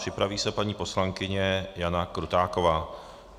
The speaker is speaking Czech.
Připraví se paní poslankyně Jana Krutáková.